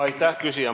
Aitäh, küsija!